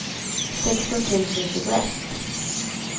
sexton tusen tjugoett